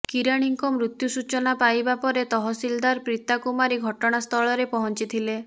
କିରାଣିଙ୍କ ମୃତ୍ୟୁ ସୂଚନା ପାଇବା ପରେ ତହସିଲଦାର ପ୍ରୀତା କୁମାରୀ ଘଟଣା ସ୍ଥଳରେ ପହଞ୍ଚିଥିଲେ